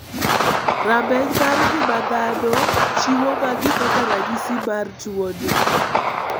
Rameny mar ng'ima dhano chiwo magi kaka ranyisi mar tuo mar tuo ni.